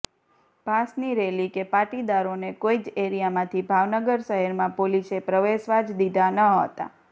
પાસની rally કે પાટીદારોને કોઈ જ એરિયામાંથી ભાવનગર શહેરમાં પોલીસે પ્રવેશવા જ દીધા ન હતા